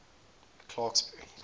clarksburry